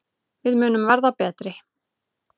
Við munum verða betri.